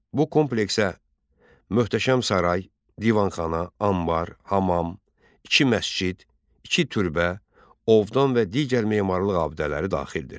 Bu kompleksə möhtəşəm saray, divanxana, anbar, hamam, iki məscid, iki türbə, ovdan və digər memarlıq abidələri daxildir.